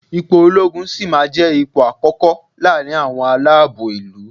Ipò olóogun sì máa jẹ́ ipò àkókò láàrin àwọn aláàbò ìlú.